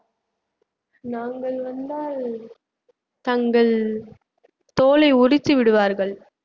நாங்கள் வந்தால் தங்கள் தோலை உரித்து விடுவார்கள்